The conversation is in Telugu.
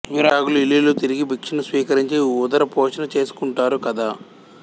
విరాగులు ఇల్లిల్లు తిరిగి భిక్షను స్వీకరించి ఉదరపోషణ చేసుకుంటారు కదా